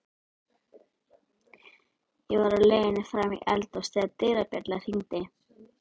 Ég var á leiðinni fram í eldhús þegar dyrabjallan hringdi.